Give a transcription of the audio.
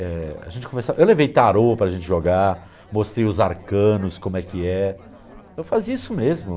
eh... a gente começava. Eu levei tarô para a gente jogar, mostrei os arcanos, como é que é. Eu fazia isso mesmo.